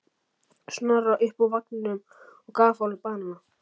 Snorra upp úr vagninum og gaf honum banana.